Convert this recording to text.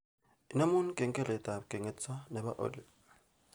Inemu kengeletab kengetsot nebo oli